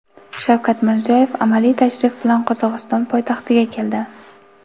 Shavkat Mirziyoyev amaliy tashrif bilan Qozog‘iston poytaxtiga keldi.